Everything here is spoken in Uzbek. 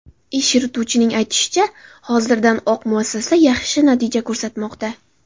Ish yurituvchining aytishicha, hozirdan oq muassasa yaxshi natija ko‘rsatmoqda.